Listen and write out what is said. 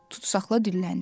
Tutsaqlar dilləndi: